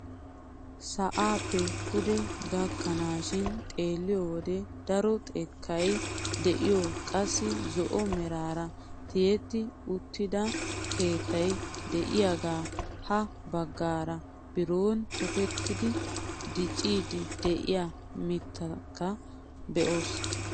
Sa'aappe pude gakkanaashin xeelliyoo wode daro xekkay de'iyoo qassi zo'o meraara tiyetti uttida keettay de'iyaagee ha baggaara biron tokettidi dicciidi de'iyaa mittaaka be'oos.